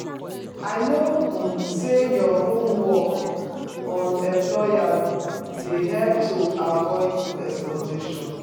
I know um say doing your homework on employers dey help to avoid exploitation.